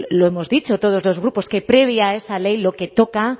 lo hemos dicho todos los grupos que previa a esa ley lo que toca